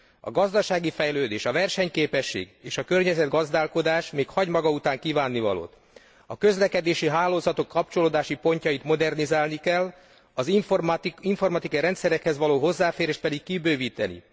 A gazdasági fejlődés, a versenyképesség és a környezetgazdálkodás még hagy maga után kívánnivalót. A közlekedési hálózatok kapcsolódási pontjait modernizálni kell, az informatikai rendszerekhez való hozzáférést pedig kibővíteni.